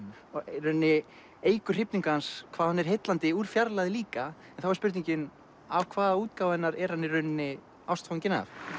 í rauninni eykur hrifningu hans hvað hún er heillandi úr fjarlægð líka en þá er spurningin af hvaða útgáfu af henni er hann í rauninni ástfanginn af